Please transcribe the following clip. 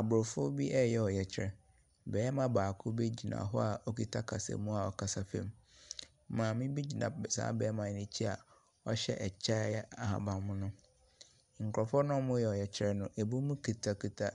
Abrɔfo bi reyɛ ɔyɛkyerɛ. Barima baako bi gyina hɔ a ɔkuta kasamuu a ɔkasa fa mu. Maame bi gyina saa barima no ɛkyi a ɔhyɛ ɛkyɛ a ɛyɛ ahaban mono. Nkorɔfoɔ na ɔreyɛ ɔyɛkyerɛ no, ebinom kutakuta